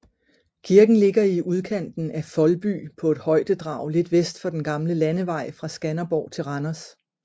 Kirken ligger i udkanten af Foldby på et højdedrag lidt vest for den gamle landevej fra Skanderborg til Randers